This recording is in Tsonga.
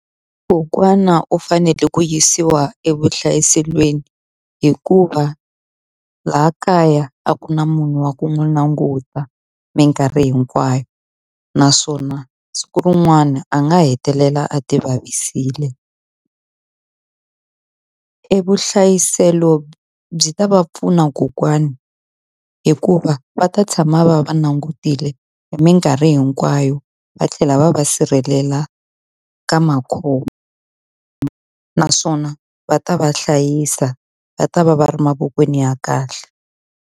Kokwana u fanele ku yisiwa evuhlayiselweni hikuva laha kaya a ku na munhu wa ku n'wi languta minkarhi hinkwayo. Naswona siku rin'wana a nga hetelela a ti vavisile. E vuhlayiselo byi ta va pfuna kokwani hikuva va ta tshama va va langutile hi minkarhi hinkwayo, va tlhela va va sirhelela ka makhombo. Naswona va ta va hlayisa, va ta va va ri mavokweni ya kahle.